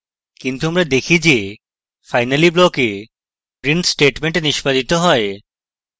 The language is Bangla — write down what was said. কিন্তু আমরা দেখি যে finally block we print statement নিষ্পাদিত হয়